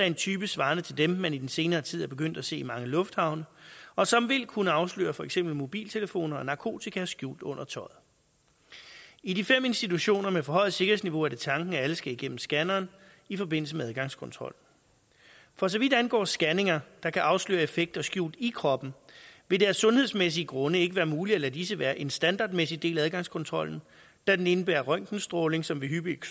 en type svarende til dem man i den senere tid er begyndt at se i mange lufthavne og som vil kunne afsløre for eksempel mobiltelefoner og narkotika skjult under tøjet i de fem institutioner med forhøjet sikkerhedsniveau er det tanken at alle skal igennem scanneren i forbindelse med adgangskontrol for så vidt angår scanninger der kan afsløre effekter skjult i kroppen vil det af sundhedsmæssige grunde ikke være muligt at lade disse være en standardmæssig del af adgangskontrollen da den indebærer røntgenstråling som ved hyppig